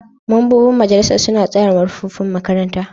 Mambobin majalisar suna tsara manufofin makaranta.